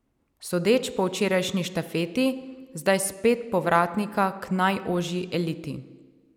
Sodeč po včerajšnji štafeti zdaj spet povratnika k najožji eliti.